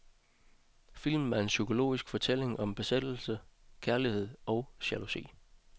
Filmen er en psykologisk fortælling om besættelse, kærlighed og jalousi.